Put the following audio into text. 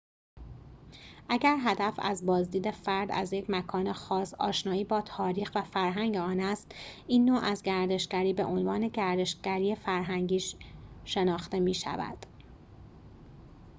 اگر هدف از بازدید فرد از یک مکان خاص آشنایی با تاریخ و فرهنگ آن است این نوع از گردشگری به عنوان گردشگری فرهنگی شناخته می شود